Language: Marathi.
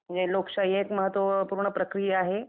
म्हणजे लोकशाही एक महत्वपूर्ण प्रक्रिया आहे